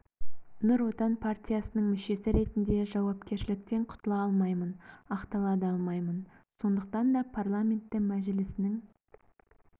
нұр отан партиясының мүшесі ретінде жауапкершіліктен құтыла алмаймын ақтала да алмаймын сондықтан да парламенті мәжілісінің